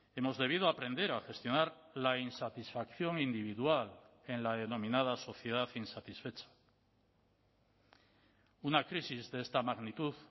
hemos debido aprender a gestionar la insatisfacción individual en la denominada sociedad insatisfecha una crisis de esta magnitud